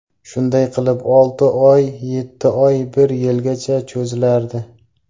Shunday qilib, olti oy, yetti oy, bir yilgacha cho‘zilardi.